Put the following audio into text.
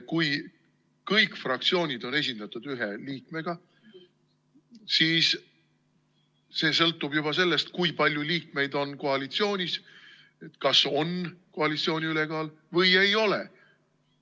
Kui kõik fraktsioonid on esindatud ühe liikmega, siis sõltub juba sellest, kui palju liikmeid on koalitsioonis, kas on koalitsiooni ülekaal või ei ole.